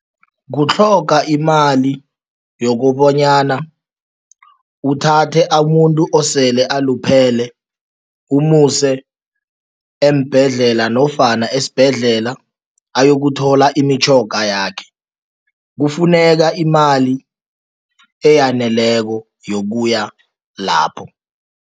Kutlhoga imali yokobanyana uthathe amuntu osele aluphele umuse eembhedlela nofana esibhedlela ayokuthola imitjhoga yakhe, kufuneka imali eyaneleko yokuya lapho.